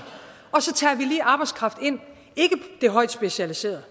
og så tager vi lige arbejdskraft ind ikke den højt specialiserede